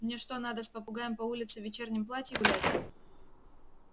мне что надо с попугаем по улице в вечернем платье гулять